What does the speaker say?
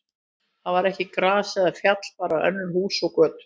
Þar var ekki gras eða fjall, bara önnur hús og götur.